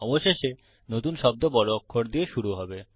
অবশেষে নতুন শব্দ বড় অক্ষর দিয়ে শুরু হবে